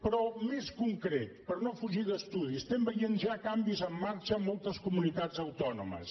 però més concret per no fugir d’estudi estem veient ja canvis en marxa a moltes comunitats autònomes